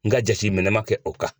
N ga jateminɛ ma kɛ o kan.